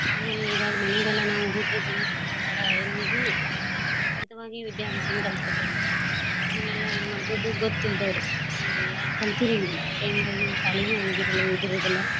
ಆಮೇಲೆ ಇವಾಗ್ ಮಾನ್ಯಗೆಲ್ಲಾ ನಾವ್ ಹೂಡ್ರಿಗೆ ಆಡ~ ಏನದೂ ವಿದ್ಯಾಬ್ಯಾಸಾನ್ ಕಲ್ಸ್ ಕೋತೇವ್ರಿ ಅದ್ನೆಲ್ಲ ಹೆಂಗ ಮಾಡೋದು ಗೊತ್ತ ಇಲ್ದೋರು ಅಂದ್ರ ಯಾರ್ ಕಲ್ತೀರಂಗಿಲ್ಲ ಎನರ ಹಿಂಗ ಶಾಲಿಗೂ ಹೋಗಿರಲ್ಲ ಓದಿರೋದಿಲ್ಲ.